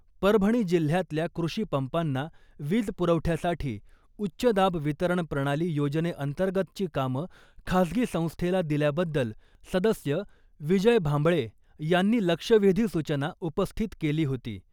परभणी जिल्ह्यातल्या कृषीपंपांना वीज पुरवठ्यासाठी उच्च दाब वितरण प्रणाली योजनेअंतर्गतची कामं खासगी संस्थेला दिल्याबद्दल सदस्य विजय भांबळे यांनी लक्षवेधी सूचना उपस्थित केली होती .